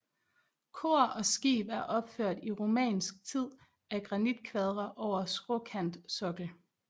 Kor og skib er opført i romansk tid af granitkvadre over skråkantsokkel